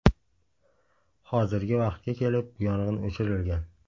Hozirgi vaqtga kelib yong‘in o‘chirilgan.